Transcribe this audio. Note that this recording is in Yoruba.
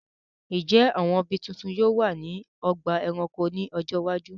Ǹjẹ́ àwọn ibi tuntun yóò wà ní ọgbà ẹranko ní ọjọ́ iwájú?